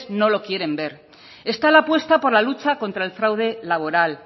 no lo quieren ver está la apuesta por la lucha contra el fraude laboral